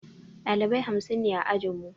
Ɗalibai hamsin ne a ajinmu